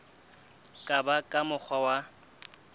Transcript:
ka ba ka mokgwa wa